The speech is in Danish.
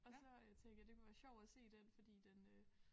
Og så øh tænkte jeg det kunne være sjovt at se den fordi den øh